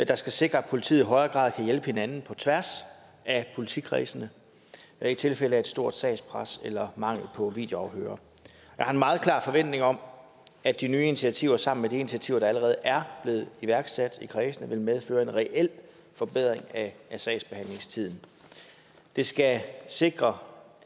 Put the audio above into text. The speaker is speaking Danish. der skal sikre at politiet i højere grad kan hjælpe hinanden på tværs af politikredsene i tilfælde af et stort sagspres eller mangel på videoafhørere jeg har en meget klar forventning om at de nye initiativer sammen med de initiativer der allerede er blevet iværksat i kredsene vil medføre en reel forbedring af sagsbehandlingstiden det skal sikre